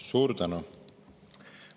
Suur tänu!